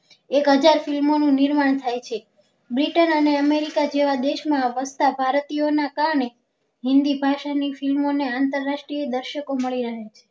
એક હજાર film નું નિર્માણ થાય છે britain અને america જેવા દેશ માં વસતા ભારતીયો ના કારણે હિન્દી ભાષા ની film ને આંતરરાષ્ટ્રીય દર્શકો મળી રહે છે